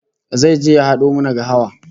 Zai je ya hado mana gahawa